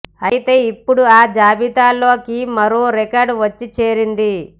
అయితే ఇప్పుడు ఆ జాబితాలోకి మరో రికార్డు వచ్చి చేరింది